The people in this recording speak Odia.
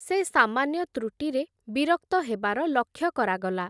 ସେ ସାମାନ୍ୟ ତୃଟିରେ ବିରକ୍ତ ହେବାର ଲକ୍ଷ୍ୟ କରାଗଲା ।